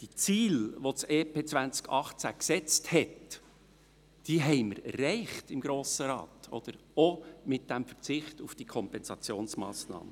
Die Ziele, die das EP 2018 gesetzt hat, haben wir im Grossen Rat erreicht, auch mit dem Verzicht auf diese Kompensationsmassnahme.